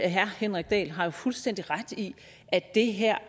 herre henrik dahl har jo fuldstændig ret i at det her